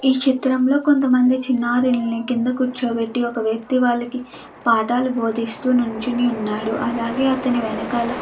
ఈ చిత్రంలో కొంతమంది చిన్నారిని కింద కూర్చోబెట్టి ఒక వ్యక్తి వాళ్లకి పాఠాలు బోధిస్తూ నుంచి ఉన్నాడు. అలాగే అతని వెనకాల --